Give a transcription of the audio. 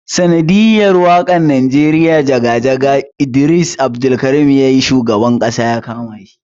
Sanadiyar wakan nijeriya jaga-jaga da Idris Abdulkarim yayi shugaban Ƙasa yakama shi.